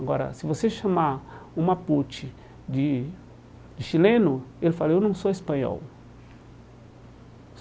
Agora, se você chamar um mapuche de de chileno, ele fala, eu não sou espanhol.